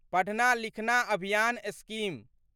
पढ़ना लिखना अभियान स्कीम